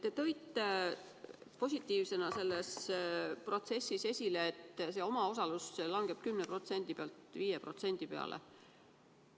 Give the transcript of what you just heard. Te tõite positiivsena selles protsessis esile, et omaosalus langeb 10% pealt 5% peale.